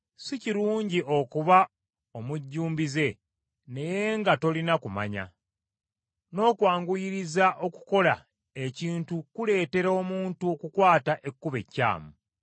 Si kirungi okuba omujjumbize naye nga tolina kumanya, n’okwanguyiriza okukola ekintu kuleetera omuntu okukwata ekkubo ekyamu.